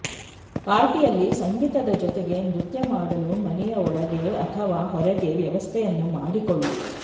ಪಾರ್ಟಿಯಲ್ಲಿ ಸಂಗೀತದ ಜೊತೆಗೆ ನೃತ್ಯ ಮಾಡಲು ಮನೆಯ ಒಳಗೆ ಅಥವಾ ಹೊರಗೆ ವ್ಯವಸ್ಥೆಯನ್ನು ಮಾಡಿಕೊಳ್ಳಿ